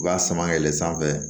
U b'a sama fɛ